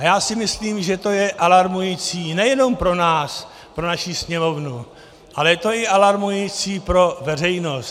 A já si myslím, že to je alarmující nejenom pro nás, pro naši Sněmovnu, ale je to i alarmující pro veřejnost.